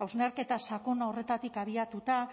hausnarketa sakon horretatik abiatuta